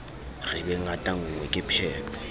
re be ngatanngwe ke pheto